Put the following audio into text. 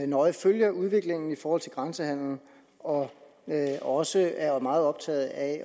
nøje følger udviklingen i forhold til grænsehandelen og også er meget optaget af